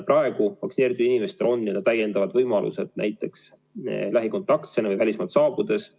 Praegu vaktsineeritud inimestel on täiendavad võimalused näiteks lähikontaktsena või välismaalt saabudes.